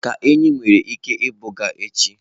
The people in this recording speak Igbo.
ka enyí nwere ike ibuga echi.